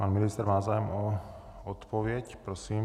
Pan ministr má zájem o odpověď. Prosím.